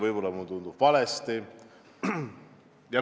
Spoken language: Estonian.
Võib-olla tundub mulle valesti.